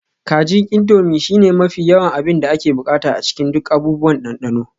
Kajin Indomie shine mafi yawan abin da ake buƙata a cikin duk abubuwan dandano